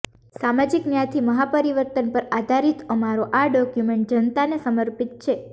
સામાજિક ન્યાયથી મહાપરિવર્તન પર આધારિત અમારો આ ડોક્યુમેન્ટ જનતાને સમર્પિત છે